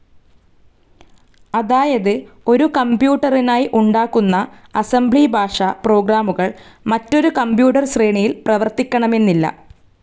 അതായത് ഒരു കംപ്യൂട്ടറിനായി ഉണ്ടാക്കുന്ന അസംബ്ലി ഭാഷ പ്രോഗ്രാമുകൾ മറ്റൊരു കമ്പ്യൂട്ടർ ശ്രേണിയിൽ പ്രവർത്തിക്കണമെന്നില്ല.